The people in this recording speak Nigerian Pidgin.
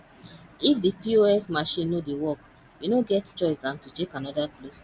if di pos machine no dey work you no get choice than to check anoda place